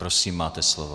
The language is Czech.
Prosím, máte slovo.